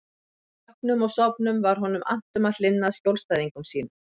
Vöknum og sofnum var honum annt um að hlynna að skjólstæðingum sínum.